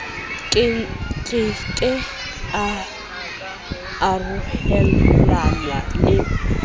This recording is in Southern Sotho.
ke ke a arolelanwa le